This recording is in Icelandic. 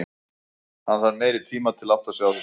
Hann þarf meiri tima til að átta sig á þessu.